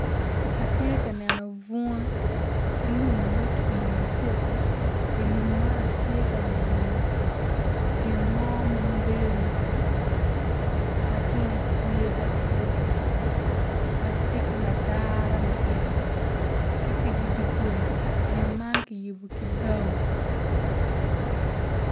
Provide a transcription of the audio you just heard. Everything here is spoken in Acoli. Atye kaneno bunga ki lum ma otwi ma cego. I dye lum man atye ka eno gin mo ma bedo calo mutoka ma tyene tye calo mutoka ma tye ki madara me ito tye i te dogola gin man kono kiyubo ki bao.